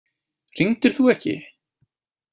Hringdir þú ekki?